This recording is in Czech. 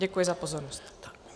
Děkuji za pozornost.